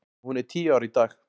Hún er tíu ára í dag.